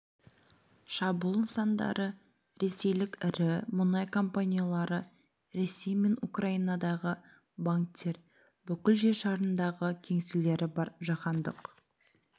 шабуыл нысандары ресейлік ірі мұнай компаниялары ресей мен украинадағы банктер бүкіл жер шарындағы кеңселері бар жаһандық